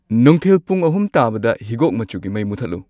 ꯅꯨꯡꯊꯤꯜ ꯄꯨꯡ ꯑꯍꯨꯝ ꯇꯥꯕꯗ ꯍꯤꯒꯣꯛ ꯃꯆꯨꯒꯤ ꯃꯩ ꯃꯨꯊꯠꯂꯨ